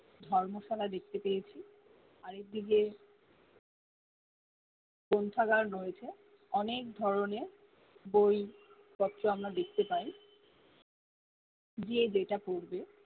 ধর্মশালা দেখতে পরেছি আরেক দিকে গ্রন্থাকার রয়েছে অনেক ধরনের বই পত্র আমরা দেখতে পাই যে যেটা পরবে